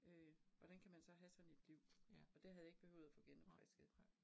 Øh hvordan kan man så have sådan et liv, og det havde jeg ikke behøvet at få genopfrisket